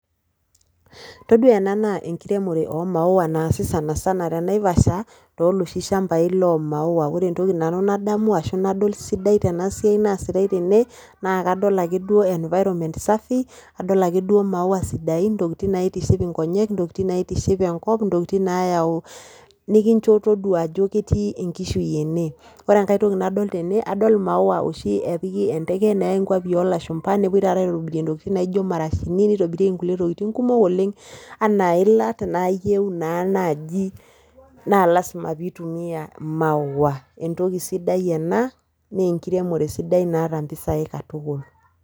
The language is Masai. Toduaa ena naa enkiremore omaua naasi sanasana te Naivasha tooloshi shambai loomaua. Ore entoki nanu nadamu arashu nadol sidai tenasiai naasitai tene naa kadol ake duo environment safi adol ake duo maua sidain intokitin naaitiship inkonyek, intokitin naitiship enkop intokitin naayau nikincho toduaa ajo ketii enkishui ene. Ore engai toki nadol tene adol imaua oshi epiki enteke neyai nkuapi oolashumba nepuoi tata aitobirie ntokitin naijo marashini neitobirieki nkulie tokitin nkumok oleng' anaa ilat naayeu naa naji naa  lasima piitumia maua. Entoki sidai ena neenkiremore sidai naata mpisai katukul.